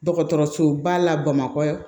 Dɔgɔtɔrɔsoba la bamakɔ